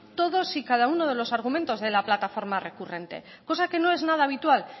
todos y cada uno de los argumentos de la plataforma recurrente cosa que no es nada habitual